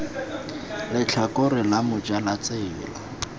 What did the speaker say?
letlhakore la moja la tsela